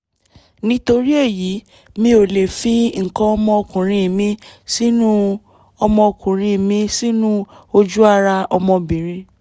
nítorí èyí mi ò lè fi nǹkan ọmọkuùnrin mi sínú ọmọkuùnrin mi sínú ojú ara ọmọbìnrin